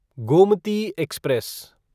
Gomti express